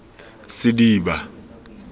sediba